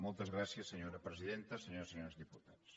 moltes gràcies senyora presidenta senyores i senyors diputats